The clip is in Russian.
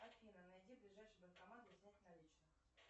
афина найди ближайший банкомат для снятия наличных